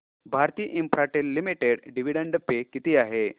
Bharti Infratel limited dividend pay किती आहे